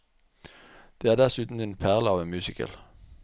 Det er dessuten en perle av en musical.